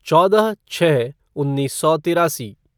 चौदह छः उन्नीस सौ तिरासी